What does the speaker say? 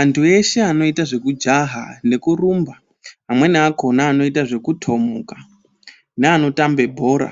Anthu eshe anoita zvekujaha nekurumba, amweni akhona anoita zvekutomuka neanotambe bhora